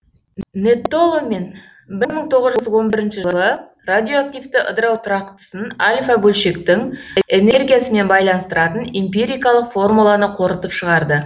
нэттоломен бір мың тоғыз жүз он бірінші жылы радиоактивті ыдырау тұрақтысын альфа бөлшектің энергиясымен байланыстыратын эмпирикалық формуланы қорытып шығарды